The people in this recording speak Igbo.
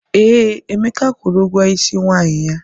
Ee, Emeka kwụrụ ụgwọ Ịsị nwanyi ya.